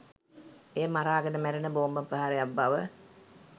එය මරාගෙන මැරෙන බෝම්බ ප්‍රහාරයක් බව